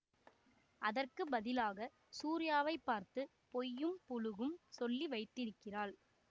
அதற்கு பதிலாக சூரியாவை பார்த்து பொய்யும் புளுகும் சொல்லி வைத்திருக்கிறாள்